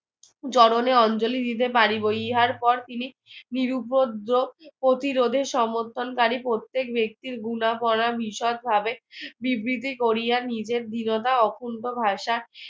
জননে অঞ্জলি দিতে পারিব ইহার পর তিনি নিরুপদ্রব প্রতিরোধে সমর্থনকারী প্রত্যেক ব্যক্তির গুনা ভাবে বিবৃতি করিয়া নিজের দৃঢ়তা ও অকুন্ঠ ভাষা